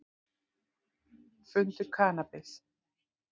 Fundu kannabis